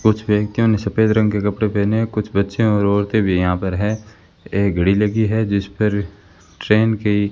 कुछ व्यक्तियों ने सफेद रंग के कपड़े पहने हैं कुछ बच्चे और औरतें भी यहां पर है एक घड़ी लगी है जिस पर ट्रेन की --